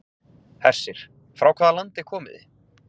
Hersir: Frá hvaða landi komið þið?